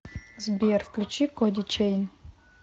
сбер включи коди чейн